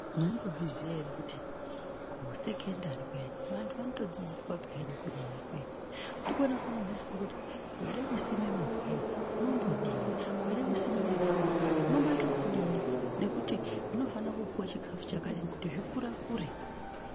Mwaimbozviziya ere kuti kusekondari kuyani vantu vanotodzidziswa peyani kurima ikweyo. Ndikwona kwavanodzidziswa kuti veida kusima magwere unombodini, weida kusima mafunde unomboite ekudini nekuti zvinofanira kupuwa chikafu chakadini kuti zvikurekure.